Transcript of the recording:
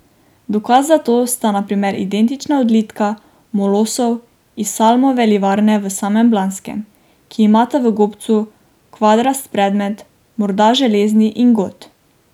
Dokaz za to sta na primer identična odlitka molosov iz Salmove livarne v samem Blanskem, ki imata v gobcu kvadrast predmet, morda železni ingot.